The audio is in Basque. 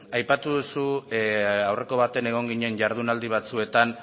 aipatu duzu aurreko batean egon ginen jardunaldi batzuetan